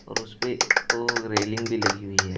और उसपे ओ रेलिंग भी लगी हुई है।